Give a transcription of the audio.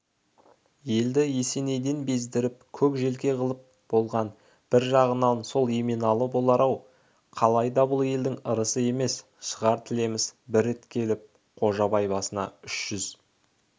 елді есенейден бездіріп көк желке қылып болған бір жағынан сол еменалы болар-ау қалайда бұл елдің ырысы емес шығар тілеміс бір рет келіп қожабай басына үш жүз үй